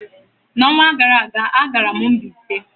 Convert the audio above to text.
N'ọnwa gara aga, agara m Mbaise.